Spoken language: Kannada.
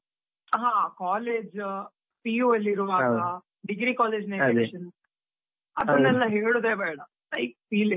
ಹಾ, college ಆ PU ಇರುವಾಗ degree college ನ ಅದನ್ನೆಲ್ಲ ಹೇಳುವುದೇ ಬೇಡ, like feeling .